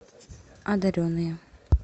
одаренные